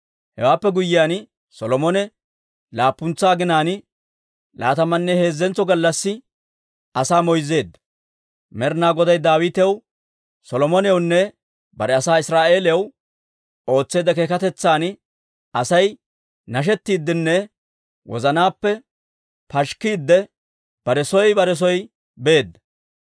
Hewaappe guyyiyaan, Solomone laappuntsa aginaan, laatamanne heezzentso gallassi asaa moyzzeedda; Med'inaa Goday Daawitaw, Solomonewunne bare asaa Israa'eeliyaw ootseedda keekatetsan Asay nashettiiddenne wozanaappe pashikkiidde, bare soo bare soo beedda.